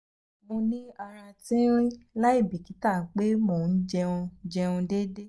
mo ni ara tinrin laibikita pe mo n jẹun jẹun deede